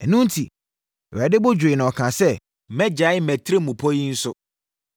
Ɛno enti, Awurade bo dwooɛ na ɔkaa sɛ, “Mɛgyae mʼatirimpɔ yi nso.”